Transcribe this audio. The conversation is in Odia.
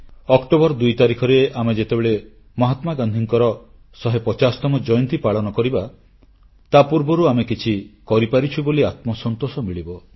ଅକ୍ଟୋବର 2 ତାରିଖରେ ଆମେ ଯେତେବେଳେ ମହାତ୍ମାଗାନ୍ଧୀଙ୍କର 150ତମ ଜୟନ୍ତୀ ପାଳନ କରିବା ତାପୂର୍ବରୁ ଆମେ କିଛି କରିପାରିଛୁ ବୋଲି ଆତ୍ମସନ୍ତୋଷ ମିଳିବ